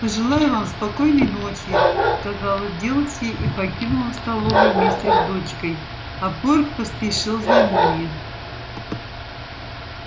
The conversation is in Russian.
пожелаю вам спокойной ночи сказала дилси и покинула столовую вместе с дочкой а порк поспешил за ними